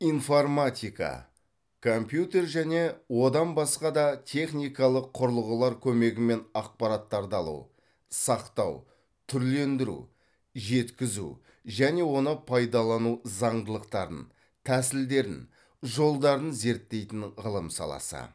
информатика компьютер және одан басқа да техникалық құрылғылар көмегімен ақпараттарды алу сақтау түрлендіру жеткізу және оны пайдалану зандылықтарын тәсілдерін жолдарын зерттейтін ғылым саласы